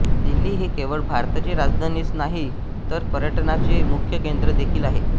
दिल्ली ही केवळ भारताची राजधानीच नाही तर पर्यटनाचे मुख्य केंद्र देखील आहे